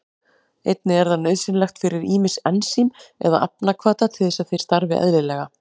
Einnig er það nauðsynlegt fyrir ýmis ensím eða efnahvata til þess að þeir starfi eðlilega.